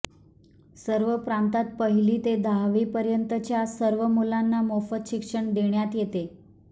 सर्व प्रांतांत पहिली ते दहावीपर्यंतच्या सर्व मुलांना मोफत शिक्षण देण्यात येते